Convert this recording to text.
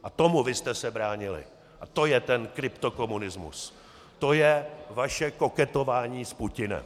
A tomu vy jste se bránili a to je ten kryptokomunismus, to je vaše koketování s Putinem.